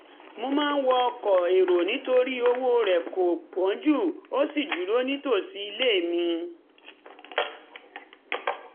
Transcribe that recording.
mo máa ń wọ ọkọ̀ èrò nítorí owó rẹ̀ kò wọ́n jù ó sì dúró nítòsí ilé mi